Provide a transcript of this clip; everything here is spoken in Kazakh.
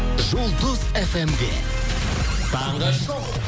жұлдыз фм де таңғы шоу